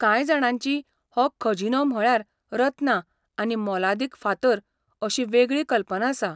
कांय जाणांची हो खजिनो म्हळ्यार रत्नां आनी मोलादीक फातर अशी वेगळी कल्पना आसा.